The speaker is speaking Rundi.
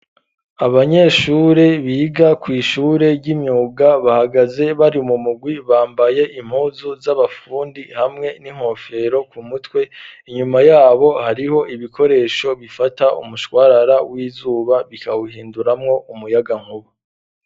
Abanyeshure biga kw'ishure ry'imyuga bahagaze bari mu mugwi bambaye impuzu z'abafundi hamwe n'inkofero ku mutwe, inyuma yabo hariho ibikoresho bifata umushwarara w'izuba bikawuhinduramwo umuyagankuba.